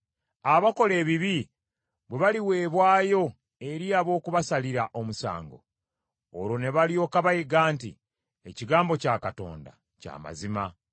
Abakola ebibi bwe baliweebwayo eri ab’okubasalira omusango, olwo ne balyoka bayiga nti ebigambo byange bya mazima.